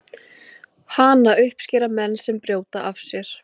hana uppskera menn sem brjóta af sér